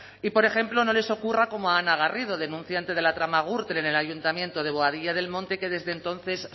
y por ejemplo no les ocurra como a ana garrido denunciante de la trama gürtel en el ayuntamiento de boadilla del monte que desde entonces